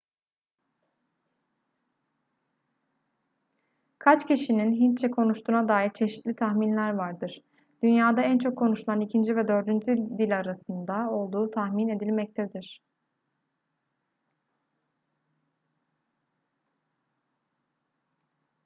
kaç kişinin hintçe konuştuğuna dair çeşitli tahminler vardır dünyada en çok konuşulan ikinci ve dördüncü dil arasında olduğu tahmin edilmektedir